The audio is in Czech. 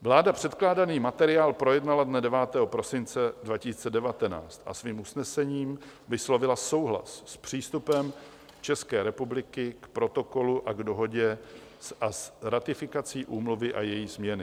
Vláda předkládaný materiál projednala dne 9. prosince 2019 a svým usnesením vyslovila souhlas s přístupem České republiky k Protokolu a k Dohodě a s ratifikací úmluvy a její změny.